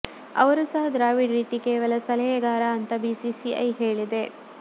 ಅವರೂ ಸಹ ದ್ರಾವಿಡ್ ರೀತಿ ಕೇವಲ ಸಲಹೆಗಾರ ಅಂತ ಬಿಸಿಸಿಐ ಹೇಳಿದೆ